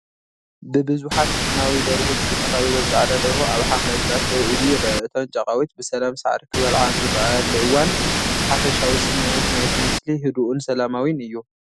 ብብዙሓት ቡናዊ ደርሁት ዝተኸበበት ጻዕዳ ደርሆ ኣብ ሓምላይ ግራት ደው ኢሉ ይርአ። እተን ጫቓዊት ብሰላም ሳዕሪ ክበልዓ ኣብ ዝረኣያሉ እዋን፡ ሓፈሻዊ ስሚዒት ናይቲ ምስሊ ህዱእን ሰላማዊን እዩ።